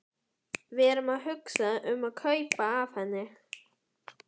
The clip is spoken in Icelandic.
Við erum að hugsa um að kaupa af henni.